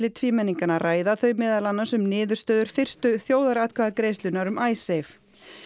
tvímenninganna ræða þau meðal annars um niðurstöður fyrstu þjóðaratkvæðagreiðslunnar um